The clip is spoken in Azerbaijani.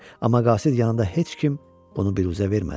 Amma qasid yanında heç kim bunu biruzə vermədi.